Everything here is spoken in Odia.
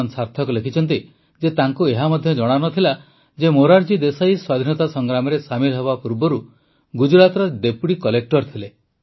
ସାର୍ଥକ ଲେଖିଛନ୍ତି ଯେ ତାଙ୍କୁ ଏହା ମଧ୍ୟ ଜଣାନଥିଲା ଯେ ମୋରାରଜୀ ଦେଶାଇ ସ୍ୱାଧୀନତା ସଂଗ୍ରାମରେ ସାମିଲ ହେବା ପୂର୍ବରୁ ଗୁଜରାଟରେ ଡେପୁଟି କଲେକ୍ଟର ଥିଲେ